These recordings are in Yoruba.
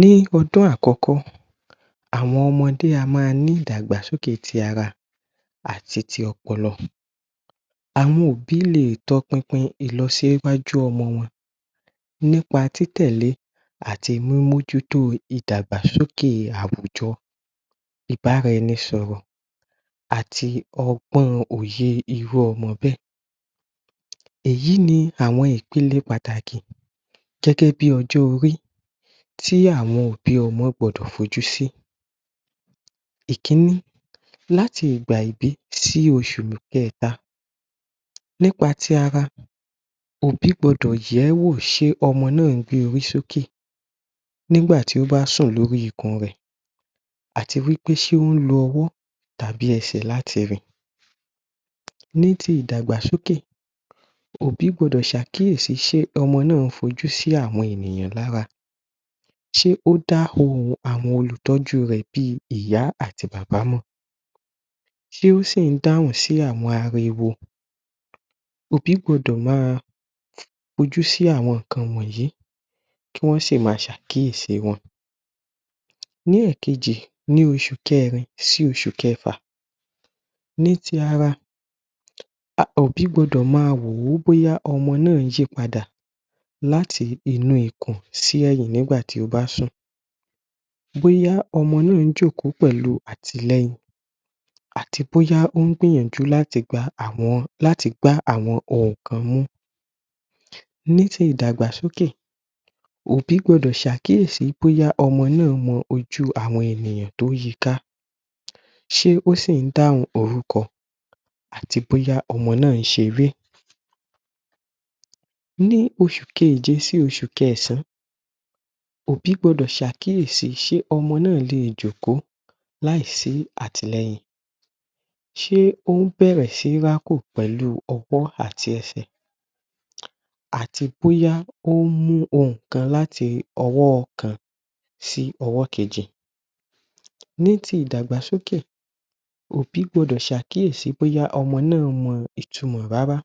Ní ọdún àkọ́kọ́, àwọn ọmọdé á máa ní ìdàgbàsókè ti ara àti ti ọpọlọ. Àwọn òbí lè tọpinpin ìlọsíwájú ọmọ wọn nípa tí tẹ̀lé àti mí mójú tó ìdàgbàsókè àwùjọ ìbára ẹni sọ̀rọ̀ àti ọgbọ́n òye irú ọmọ bẹ́ẹ̀. Èyí ní àwọn ìpele pàtàkì gẹ́gẹ́ bí ọjọ́ orí tí àwọn òbí ọmọ gbọdọ̀ fojú sí Ìkíní. Láti Ìgbà ìbí sí oṣù kẹta. nípa ti ara òbí gbọdọ̀ yẹ̀ẹ́wò ṣe ọmọ náà gbé orí sókè nígbà tí ó bá sùn lórí ikùn rẹ̀ àti wí pé ṣe ó lo ọwọ́ tàbí ẹsẹ̀ láti rìn. Ní ti ìdàgbàsókè òbí gbọdọ̀ ṣàkíyèsí ṣe ọmọ náà fi ojú sí àwọn ènìyàn lára ṣe o dá ohùn àwọn olùtọ́jú rẹ̀ bí ìyá àti bàbá mọ̀. ṣe ó sì dáhùn sí àwọn ariwo. Òbí gbọdọ̀ máa fojú sí àwọn nǹkan wọ̀nyí kí wọn sì máa ṣe àkíyèsí wọn. Ní ẹ̀kẹjì. ní oṣù kẹrin sí oṣù kẹfà. Ní ti ara, òbí gbọdọ̀ máa wò bóyá ọmọ náà yípadà láti inú ikùn sí ẹ̀yìn nígbà tí ó bá sùn. Bóyá ọmọ náà jókòó pẹ̀lú àtìlẹyìn àti bóyá ó ń gbìyànjú láti gbá àwọn òkan mú. Ní ti ìdàgbàsókè, òbí gbọdọ̀ ṣàkíyèsí bóyá ọmọ náà mọ ojú àwọn ènìyàn tó yiká. ṣe ó sì dáhùn orúkọ àti bóyá ọmọ náà ṣeré. Ní oṣù kẹjẹ sí oṣù kẹ̀sán òbí gbọdọ̀ ṣe àkíyèsí ṣe ọmọ náà lè jòkó láìsí àtìlẹyìn. Ṣe ó bẹ̀rẹ̀ sí rákò pẹ̀lú ọwọ́ àti ẹ̀sẹ̀ àti bóyá o mú òkan láti ọwọ́ kan sí ọwọ́ kejì. Ní ti ìdàgbàsókè òbí gbọdọ̀ ṣe àkíyèsí bóyá ọmọ náà mọ ìtumọ́ rárá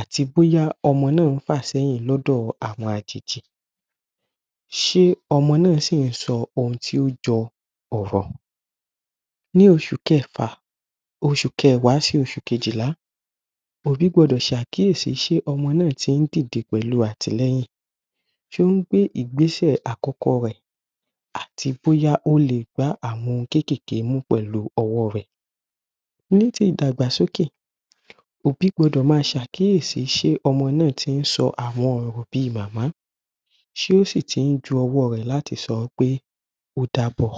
àti bóyá ọmọ náà fà ṣéyìn lọ́dọ̀ àwọn àjèjì. Ṣe ọmọ náà si sọ ohun tí o jọ ọ̀rọ̀. Ní oṣù kẹfà, oṣu kẹwàá sí oṣù kejìlá, òbí gbọdọ̀ ṣe àkíyèsí ṣe ọmọ náà tí dìde pẹ̀lú àtìlẹyìn. Ṣe ó ń gbé ìgbésẹ̀ àkọ́kọ́ rẹ̀ àti bóyá o lè gbá àwọn ohun kékèké mú pẹ̀lú ọwọ́ rẹ̀ Ní tí ìdàgbàsókè òbí gbọdọ̀ máa ṣe àkíyèsí ṣe ọmọ náà tí sọ àwọn ọ̀rọ̀ bí màmá ṣe ó sì tún ju ọwọ́ rẹ̀ láti sọ pé ó dàbọ̀.